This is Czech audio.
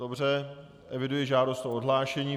Dobře, eviduji žádost o odhlášení.